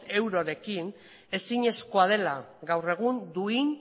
eurorekin ezinezkoa dela gaur egun duin